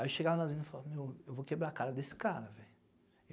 Aí eu chegava nas minas e falava, meu, eu vou quebrar a cara desse cara, velho.